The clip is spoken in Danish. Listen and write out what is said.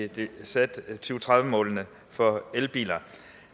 de satte to tusind og tredive målene for elbiler